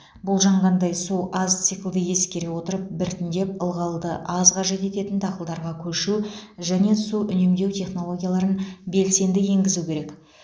болжанғандай су аз циклды ескере отырып біртіндеп ылғалды аз қажет ететін дақылдарға көшу және су үнемдеу технологияларын белсенді енгізу керек